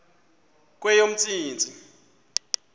kweyomntsintsi